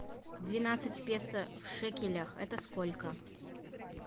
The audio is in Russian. двенадцать песо в шекелях это сколько